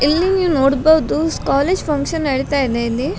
ಇಲ್ಲಿ ನೋಡ್ಬೋದು college function ‌ ನೋಡಿತಾ ಇದೆ ಇಲ್ಲಿ.